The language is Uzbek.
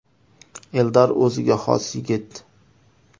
Eldor o‘ziga xos yigit.